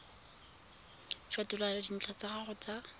fetola dintlha tsa gago tsa